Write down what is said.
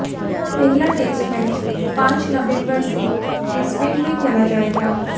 पहला test match पांच नवम्बर से ब्रिस्बेन में खेला जाएगा